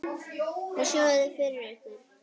Hvað sjáið þið fyrir ykkur?